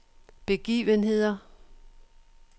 begivenheder